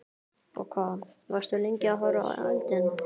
Og hvað, varstu lengi að horfa á eldinn?